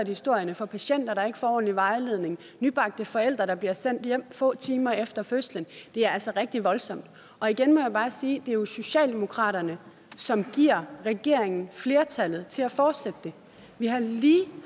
historierne for patienter der ikke får ordentlig vejledning og nybagte forældre der bliver sendt hjem få timer efter fødslen det er altså rigtig voldsomt igen må jeg bare sige det er jo socialdemokratiet som giver regeringen flertallet til at fortsætte det vi har lige